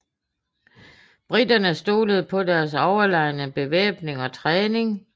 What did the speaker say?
Briterne stolede på deres overlegne bevæbning og træning